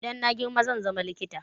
Idan na girma zan zama likita